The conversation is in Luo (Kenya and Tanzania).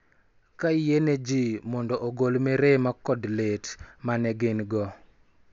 Ka yie ne ji mondo ogol mirima kod lit ma ne gin-go,